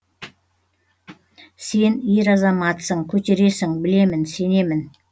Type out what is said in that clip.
сен ер азаматсың көтересің білемін сенемін